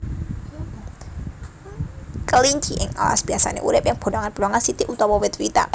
Kelinci ing alas biasané urip ing bolongan bolongan siti utawa wit witan